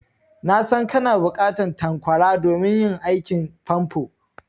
Na san kana buƙatan tanƙwara domin yin aikin famfo.